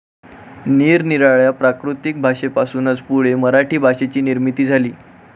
निरनिराळ्या प्राकृत भाषेपासूनच पुढे मराठी भाषेची निर्मिती झाली.